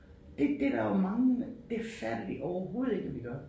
Det det der jo mange det fatter de overhovedet ikke at vi gør